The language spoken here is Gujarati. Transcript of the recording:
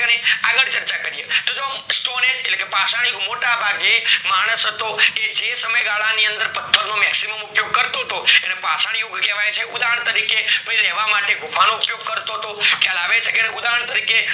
આગળ ચર્ચા કરીએ તો જો, stone age એટલે પાષણ યુગ મોટા ભાગે માનસ હતો એ જે સમય ગાળા ની અંદર પથર નો maximum ઉપયોગ કરતો હતો એને પાષણ યુગ કહેવાય છે ઉદાહરણ તરીકે ભય રેવા માટે ગુફા નો ઉપયોગ કરતો ખ્યાલ આવે છે ઉદાહરણ તરીકે